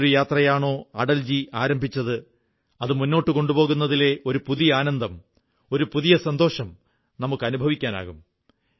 ഏതൊരു യാത്രയാണോ അടൽജി ആരംഭിച്ചത് അത് മുന്നോട്ടു കൊണ്ടുപോകുന്നതിലെ ഒരു പുതിയ ആനന്ദം ഒരു പുതിയ സന്തോഷം നമുക്ക് അനുഭവിക്കാനാകും